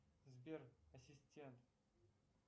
сбер ассистент